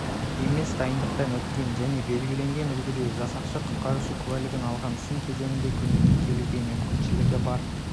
емес дайындықтан өткен және белгіленген үлгіде жасақшы құтқарушы куәлігін алған сын кезінде көмекке келуге мүмкіншілігі бар